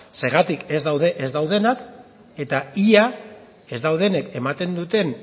zergatik ez dauden ez daudenak eta ia ez daudenek ematen duten